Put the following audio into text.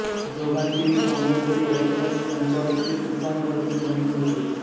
जोगांची ही काॅमेन्टरी ऐकण्यास मंचाभोवती तुफान गर्दी जमली होती